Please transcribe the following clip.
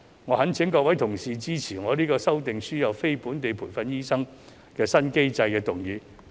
我懇請各位同事支持我的"制訂輸入非本地培訓醫生的新機制"議案。